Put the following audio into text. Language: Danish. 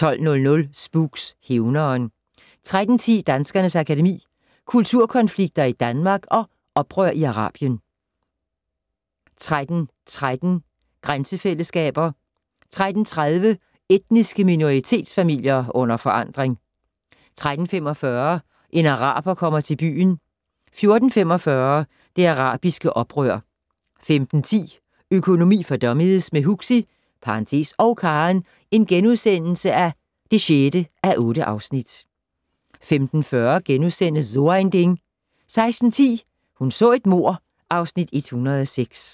12:00: Spooks: Hævneren 13:10: Danskernes Akademi: Kulturkonflikter i Danmark & Oprør i Arabien 13:13: Grænsefællesskaber 13:30: Etniske minoritetsfamilier under forandring 13:45: En araber kommer til byen 14:45: Det arabiske oprør 15:10: Økonomi for dummies - med Huxi (og Karen) (6:8)* 15:40: So ein Ding * 16:10: Hun så et mord (Afs. 106)